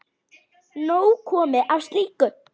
Nóg komið af slíku.